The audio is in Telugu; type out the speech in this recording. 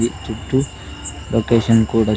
ఈ చుట్టూ లోకేషన్ కూడా.